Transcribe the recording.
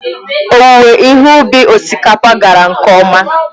Owuwe ihe ubi osikapa gara nke ọma.